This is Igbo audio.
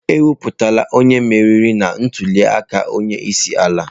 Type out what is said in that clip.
Ekwuputala onye meriri na ntuli aka onye isi ala.